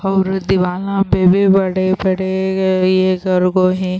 اور دیوالہ پی بھی بڑے-بڑے یہ ہے۔